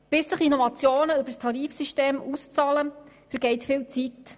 Bis sich Innovationen über das Tarifsystem auszahlen, vergeht viel Zeit.